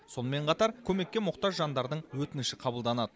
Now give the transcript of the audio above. сонымен қатар көмекке мұқтаж жандардың өтініші қабылданады